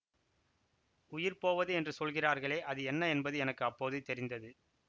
உயிர் போவது என்று சொல்கிறார்களே அது என்ன என்பது எனக்கு அப்போது தெரிந்தது